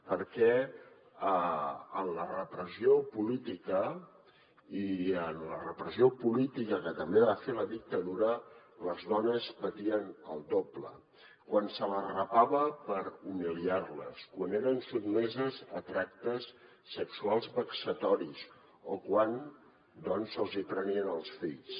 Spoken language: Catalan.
perquè en la repressió política i en la repressió política que també va fer la dictadura les dones patien el doble quan se les rapava per humiliar les quan eren sotmeses a tractes sexuals vexatoris o quan se’ls hi prenien els fills